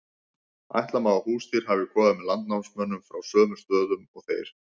ætla má að húsdýr hafi komið með landnámsmönnum frá sömu stöðum og þeir